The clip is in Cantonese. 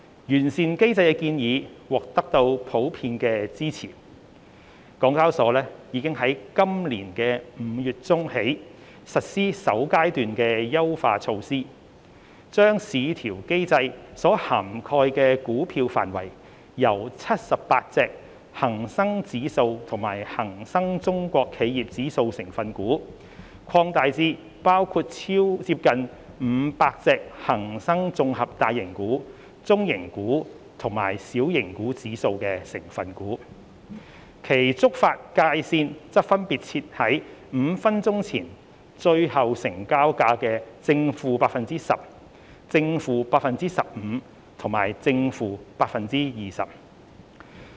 完善機制的建議獲普遍支持，港交所已在今年5月中起實施首階段優化措施，將市調機制所涵蓋股票的範圍由78隻恒生指數及恒生中國企業指數成分股，擴大至包括接近500隻恒生綜合大型股、中型股及小型股指數成分股，其觸發界線則分別設定為5分鐘前最後成交價的 ±10%、±15% 和 ±20%。